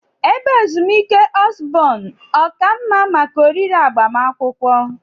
Ebe ezumike Osborn ọ ka mma maka oriri agbamakwụkwọ?